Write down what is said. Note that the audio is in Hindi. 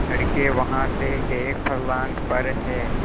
लड़के वहाँ से एक फर्लांग पर हैं